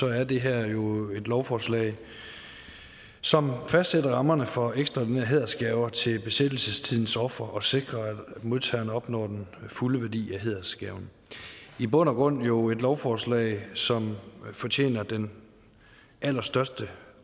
er det her jo et lovforslag som fastsætter rammerne for ekstraordinære hædersgaver til besættelsestidens ofre og sikrer at modtagerne opnår den fulde værdi af hædersgaven i bund og grund jo et lovforslag som fortjener den allerstørste